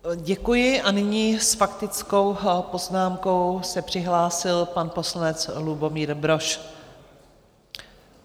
Děkuji a nyní s faktickou poznámkou se přihlásil pan poslanec Lubomír Brož.